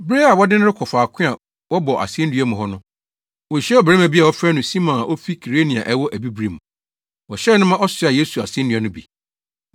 Bere a wɔde no rekɔ faako a wɔbɔ asennua mu hɔ no, wohyiaa ɔbarima bi a wɔfrɛ no Simon a ofi Kirene a ɛwɔ Abibirim. Wɔhyɛɛ no ma ɔsoaa Yesu asennua no bi.